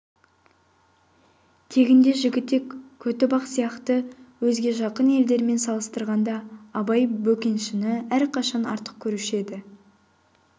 тегінде жігітек көтібақ сияқты өзге жақын елдермен салыстырғанда абай бөкеншіні әрқашан артық көруші еді